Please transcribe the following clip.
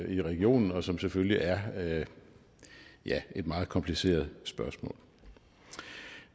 i regionen og som selvfølgelig er ja et meget kompliceret spørgsmål